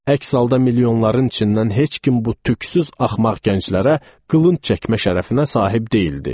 Əks halda milyonların içindən heç kim bu tüksüz axmaq gənclərə qılınc çəkmə şərəfinə sahib deyildi.